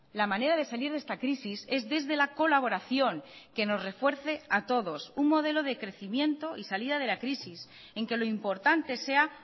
la manera de salir de esta crisis es desde la colaboración que nos refuerce a todos un modelo de crecimiento y salida de la crisis en que lo importante sea